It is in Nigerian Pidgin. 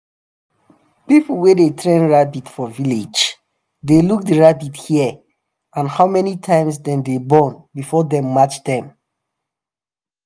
people wey dey train rabbit for village dey look the rabbit hair and how many times dem dey born before dem match dem.